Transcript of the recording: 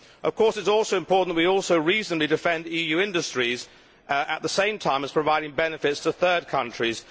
Of course, it is also important that we also reasonably defend EU industries, at the same time as providing benefits to third countries.